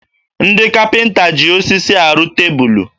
Ndị kapịnta ji osisi arụ tebulu